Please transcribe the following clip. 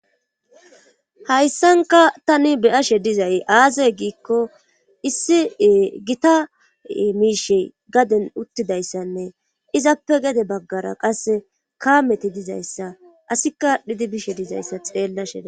hayssanka tani beyashe dizay aazay giikko issi gita miishe gaden uttidayssanne izappe gede baggara qasse kaameti dizayssa asikka dhidi bishe dizayssa xeellashea dees